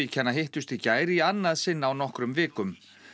hittust í gær í annað sinn á nokkrum vikum